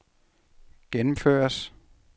gennemføres